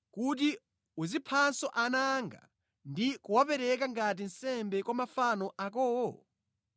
kuti uziphanso ana anga ndi kuwapereka ngati nsembe kwa mafano akowo?